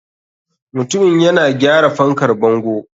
Mutumin yana gyara fankar bango.